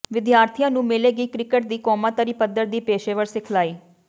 ਵਿਦਿਆਰਥੀਆਂ ਨੂੰ ਮਿਲੇਗੀ ਕ੍ਰਿਕਟ ਦੀ ਕੌਮਾਂਤਰੀ ਪੱਧਰ ਦੀ ਪੇਸ਼ੇਵਰ ਸਿਖਲਾਈ